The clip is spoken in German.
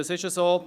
So ist es.